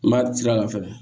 N b'a ci a la fɛnɛ